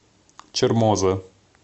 чермоза